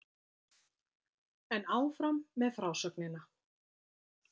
En áfram með frásögnina!